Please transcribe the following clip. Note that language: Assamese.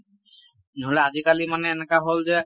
নহলে আজিকালি মানে এনেকুৱা হল যে